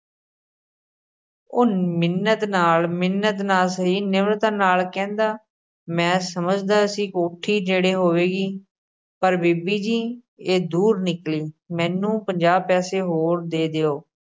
ਉਹ ਮਿੰਨਤ ਨਾਲ਼ ਮਿੰਨਤ ਨਾ ਸਹੀ, ਨਿਮਰਤਾ ਨਾਲ਼ ਕਹਿੰਦਾ, ਮੈਂ ਸਮਝਦਾ ਸੀ ਕੋਠੀ ਨੇੜੇ ਹੋਵੇਗੀ, ਪਰ ਬੀਬੀ ਜੀ, ਇਹ ਦੂਰ ਨਿਕਲ਼ੀ, ਮੈਨੂੰ ਪੰਜਾਹ ਪੈਸੇ ਹੋਰ ਦੇ ਦਿਉ।